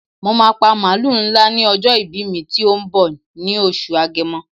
Mo máà pa màlúù ńlá ní ọjọ́ ìbí mi tó ń bọ̀ ní oṣù Agẹmọ.